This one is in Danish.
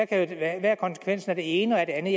er konsekvensen af det ene og af det andet